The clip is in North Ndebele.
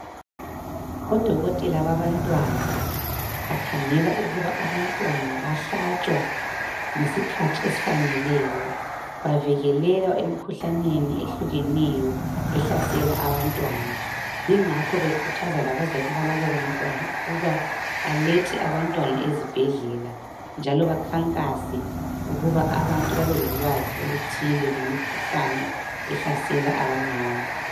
odokotela babantwana bakhangela ukuba abantwana bahlatshwa ngesikhathi esifaneleyo bavikeleka emikhuhlaneni ehlukeneyo ehlasela abantwana ,ingakho bekhuthaza labazali babonalabo bantwana ukuba balethe abantwana ezibhedlela njalo bakhankase ukuba abantu babe lolwazi oluthi ngemikhuhlane ehlasela abancane